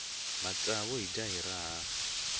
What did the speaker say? matsavu hi dya hi raha